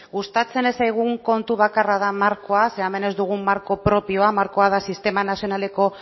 gustatzen ez zaigun kontu bakarra da markoa ze hemen ez dugu marko propioa markoa da sistema nazionaleko